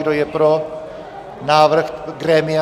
Kdo je pro návrh grémia?